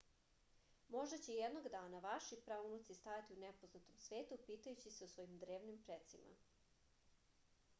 možda će jednog dana vaši praunuci stajati u nepoznatom svetu pitajući se o svojim drevnim precima